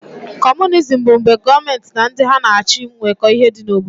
Comunism bụ mgbe gọọmenti na ndị ha na-achị nweko ihe dị n'obodo.